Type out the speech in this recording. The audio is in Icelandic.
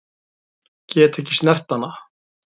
Get ekki snert hana.